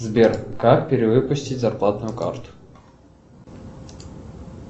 сбер как перевыпустить зарплатную карту